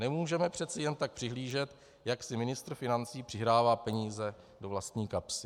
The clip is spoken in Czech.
Nemůžeme přece jen tak přihlížet, jak si ministr financí přihrává peníze do vlastní kapsy.